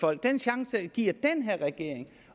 folk den chance giver den her regering